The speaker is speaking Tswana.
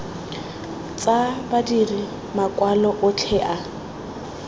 tsa badiri makwalo otlhe a